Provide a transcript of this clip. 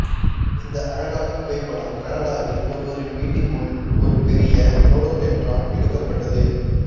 இந்த அழகான புகைப்படம் கனடாவில் ஒருவரின் வீட்டின் முன் ஒரு பெரிய ரோடோடென்ட்ரான் எடுக்கப்பட்டது